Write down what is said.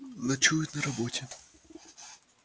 ночует на работе